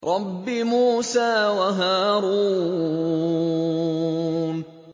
رَبِّ مُوسَىٰ وَهَارُونَ